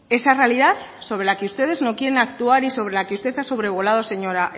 esa realidad sobre las que ustedes no quieren actuar y sobre la que usted ha sobrevolado señora